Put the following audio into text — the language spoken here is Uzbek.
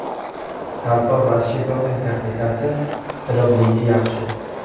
Sardor Rashidovning texnikasi, driblinggi yaxshi.